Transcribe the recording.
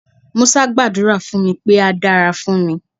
Musa gbàdúrà fún mi pé á dára fún mi.